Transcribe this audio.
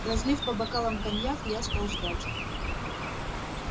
разлив по бокалам коньяк я стал ждать